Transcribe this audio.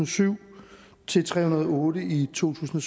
syv til tre hundrede og otte i to tusind